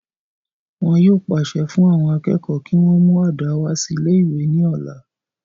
wọn yóò pàṣẹ fún àwọn akẹ́kọ̀ọ́ kí wọ́n mú àdá wá sí ilé ìwé ní ọ̀la